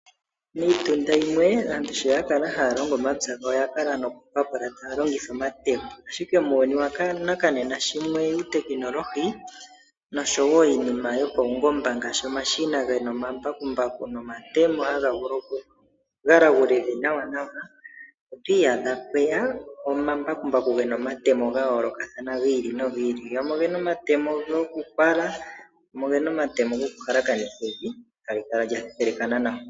Miitunda yimwe aantu sho ya kala haya longo omapya gawo oya kala nokupapula taya longitha omatemo, ashike muuyuni wanakanena sho mweya uutekinolohi noshowo Iinima yopaungomba ngaashi omashina gomambakumbaku gena omatemo taga vulu oku galagula evi nawanawa, otwi iyadha pweya omambakumbaku gena omatemo ga yoolokathana hi ili nogi ili, gamwe ogena omatemo gokupala gamwe ogena omatemo gokuhalakanitha evi eta lo kala lya thethelekana nawa.